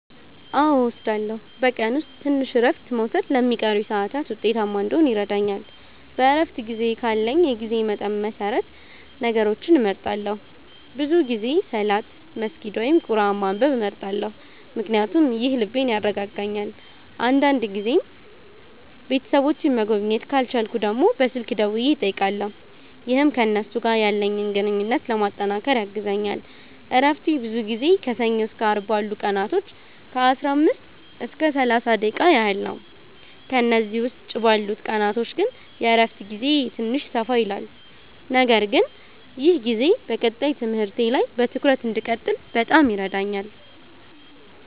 አዎ እወስዳለሁኝ፤ በቀን ውስጥ ትንሽ እረፍት መውሰድ ለሚቀሩኝ ሰዓታት ውጤታማ እንዲሆን ይረዳኛል። በእረፍት ጊዜዬ ካለኝ የጊዜ መጠን መሰረት ነገሮችን እመርጣለሁ፤ ብዙ ጊዜ ሰላት መስገድ ወይም ቁርአን ማንበብ እመርጣለሁ ምክንያቱም ይህ ልቤን ያረጋጋልኛል። አንዳንድ ጊዜም ቤተሰቦቼን መጎብኘት ካልቻልኩ ደግሞ በስልክ ደውዬ እጠይቃለሁ፣ ይህም ከእነሱ ጋር ያለኝን ግንኙነት ለማጠናከር ያግዘኛል። እረፍቴ ብዙ ጊዜ ከሰኞ እስከ አርብ ባሉት ቀናቶች ከ15 እስከ 30 ደቂቃ ያህል ነው፤ ከእነዚህ ውጭ ባሉት ቀናቶች ግን የእረፍት ጊዜዬ ትንሽ ሰፋ ይላል። ነገር ግን ይህ ጊዜ በቀጣይ ትምህርቴ ላይ በትኩረት እንድቀጥል በጣም ይረዳኛል።